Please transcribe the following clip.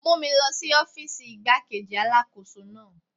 Mú mi lọ sí ọ́fíìsì igbá-kejì Alákóso náà.